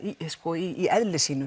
í eðli sínu